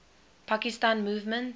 pakistan movement